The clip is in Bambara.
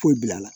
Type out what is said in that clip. Foyi bil'a la